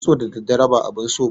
kitso da daddare ba abun so ba ne.